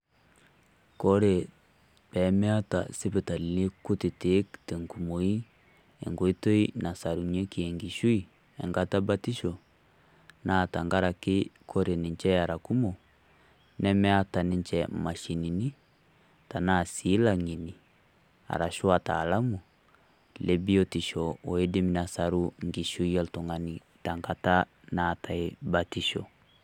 Kore pee meeta sipitalini kutitik tenkumoi enkoitoi nasarunyieki enkishui enkata ebatisho naa tang'araki kore ninche era kumook nemeeta ninche mashinini tenaa sii laanyenie arashu wataalamu le biutisho odiim nesaruu nkishui e iltung'ani te ng'ataa neetai batisho.